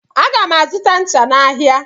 Aga m azụta ncha n'ahịa.